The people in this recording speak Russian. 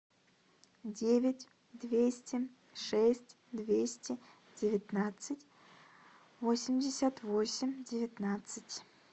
девять двести шесть двести девятнадцать восемьдесят восемь девятнадцать